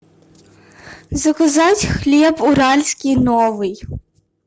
заказать хлеб уральский новый